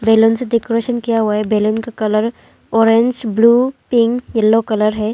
Balloon से decoration किया हुआ है बैलून का colour orange blue pink yellow colour है।